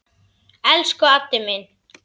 Elsku Addi minn.